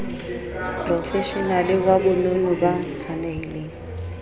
profeshenale wa bonono ba tshwanelhileng